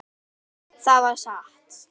Já, það var satt.